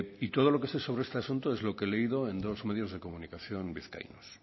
y todo lo que sé sobre este asunto es lo que he leído en dos medios de comunicación vizcaínos